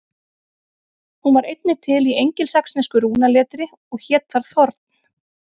Hún var einnig til í engilsaxnesku rúnaletri og hét þar þorn.